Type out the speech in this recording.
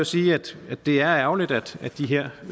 sige at det er ærgerligt at de her